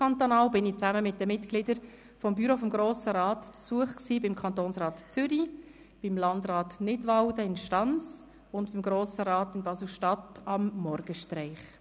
Zusammen mit den Mitgliedern des Büros des Grossen Rats war ich ausserkantonal auf Besuch beim Kantonsrat Zürich, beim Landrat Nidwalden in Stans und beim Grossen Rat Basel-Stadt anlässlich des Morgenstraichs.